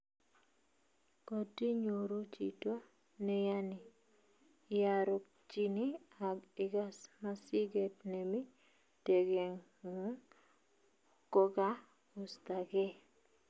kotinyoru chito neyanii, iarorchini ak igas masigeet nemi tegengung kogagostageee